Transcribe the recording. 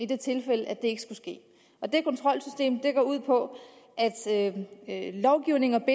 det tilfælde at det ikke skulle ske og det kontrolsystem går ud på at lovgivning